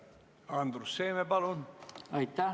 Andrus Seeme, palun!